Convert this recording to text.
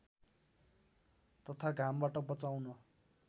तथा घामबाट बचाउन